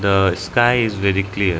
The sky is very clear.